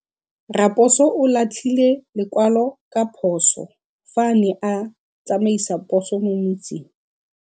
Raposo o latlhie lekwalô ka phosô fa a ne a tsamaisa poso mo motseng.